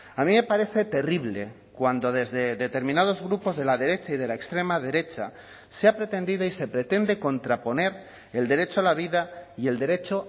a mí me parece terrible cuando desde determinados grupos de la derecha y de la extrema derecha se ha pretendido y se pretende contraponer el derecho a la vida y el derecho